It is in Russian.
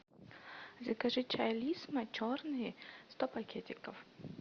закажи чай лисма черный сто пакетиков